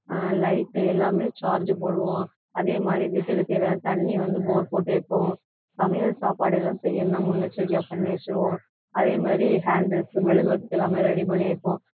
அஹ் light எல்லாமே charge போடுவோம் அதே மாதிரி வீட்டுக்கு தேவையான தண்ணி வந்து bore போட்டு வைப்போம் சமையல் சாப்பாடு ஏதும் செய்யணும்னா முன்னெச்சரிக்கையா பண்ணி வச்சிருவோம் அதே மாதிரி candles மெழுகுவர்த்தி எல்லாமே ready பண்ணி வைப்போம்